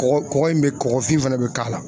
Kɔgɔ kɔgɔ in be kɔgɔfin fɛnɛ be k'a la